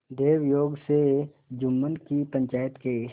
दैवयोग से जुम्मन की पंचायत के